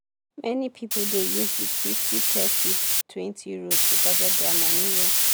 many people dey use the fifty thirty twenty rule to budget their money well.